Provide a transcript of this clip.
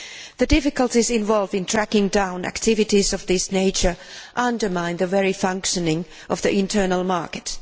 The difficulties involved in tracking down activities of this nature undermine the very functioning of the Internal Market.